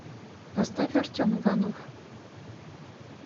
поставь артем иванов